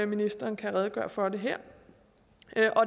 ministeren kan redegøre for det her